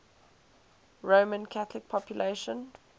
roman catholic population